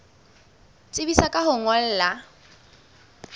tsebisa ka ho o ngolla